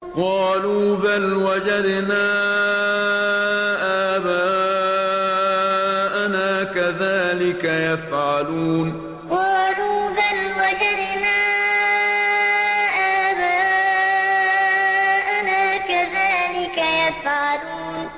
قَالُوا بَلْ وَجَدْنَا آبَاءَنَا كَذَٰلِكَ يَفْعَلُونَ قَالُوا بَلْ وَجَدْنَا آبَاءَنَا كَذَٰلِكَ يَفْعَلُونَ